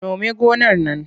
Nome gonar nan!